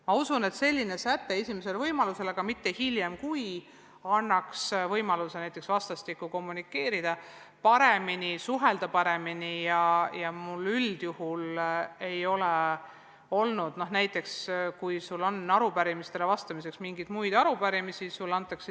Ma usun, et säte "esimesel võimalusel, aga mitte hiljem, kui" annaks võimaluse vastastikku paremini oma sõnumit kommunikeerida ja suhelda.